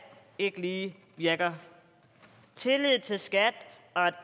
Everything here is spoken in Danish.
ikke lige virker tillid til skat og